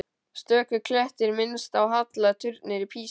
Stöku klettur minnti á halla turninn í Písa.